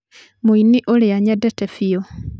mũini ũria nyendete biũ